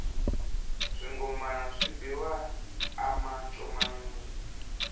swingomana swi biwa a mancomanini